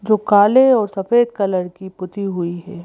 जो काले और सफेद कलर की पुती हुई।